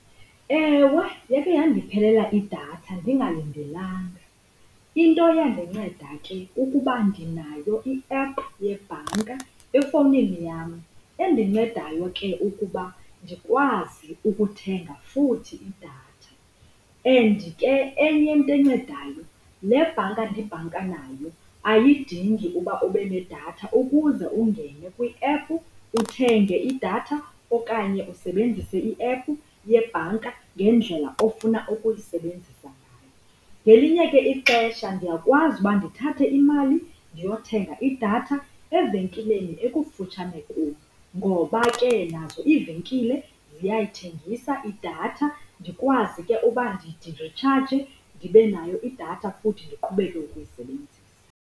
Ewe, yakhe yandiphelela idatha ndingalindelanga. Into eyandinceda ke kukuba ndinayo i-app yebhanka efowunini yam endincedayo ke ukuba ndikwazi ukuthenga futhi idatha. And ke enye into encedayo le bhanka ndibhanka nayo ayidingi uba ube nedatha ukuze ungene kwi-app uthenge idatha okanye usebenzise i-app yebhanka ngendlela ofuna ukuyisebenzisa ngayo. Ngelinye ke ixesha ndiyakwazi uba ndithathe imali ndiyothenga idatha evenkileni ekufutshane kum, ngoba ke nazo iivenkile ziyayithengisa idatha, ndikwazi ke uba ndiritshaje, ndibe nayo idatha futhi ndiqhubeke ukuyisebenzisa.